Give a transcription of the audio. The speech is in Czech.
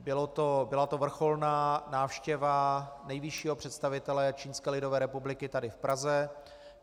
Byla to vrcholná návštěva nejvyššího představitele Čínské lidové republiky tady v Praze.